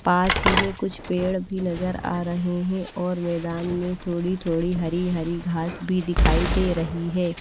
पास ही में कुछ पेड़ भी नजर आ रहे हैं और मैदान में थोड़ी थोड़ी हरी हरी घास भी दिखाई दे रही है।